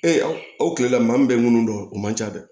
Ee aw kilela maa min bɛ munnu dɔn o man ca dɛ